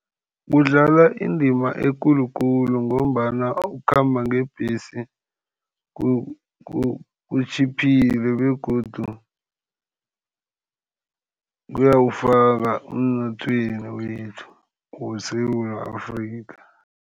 Kudlalwa indima ekulukulu, ngombana ukukhamba ngebhesi kutjhiphile begodu kuyawufaka emnothweni wethu weSewula Afrika.